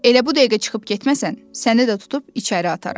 Elə bu dəqiqə çıxıb getməsən, səni də tutub içəri ataram.